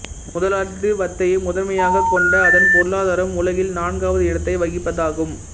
முதலாளித்துவத்தையே முதன்மையாகக் கொண்ட அதன் பொருளாதாரம் உலகில் நான்காவது இடத்தை வகிப்பதாகும்